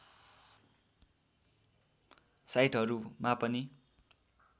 साइटहरूमा पनि